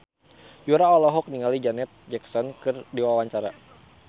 Yura olohok ningali Janet Jackson keur diwawancara